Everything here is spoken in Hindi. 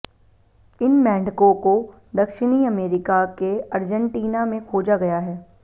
इन मेंढकों को दक्षिणी अमेरिका के अर्जेंटीना में खोजा गया है